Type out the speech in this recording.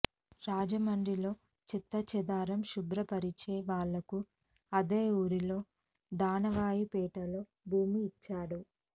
రాజమండ్రిలో చెత్తా చెదారం శుభ్రపరిచే వాళ్ళకు అదే ఊరిలో దానవాయిపేటలో భూమి ఇచ్చాడు